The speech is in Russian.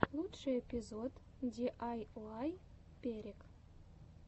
лучший эпизод диайуай перек